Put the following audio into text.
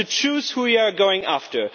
You have to choose who you are going after.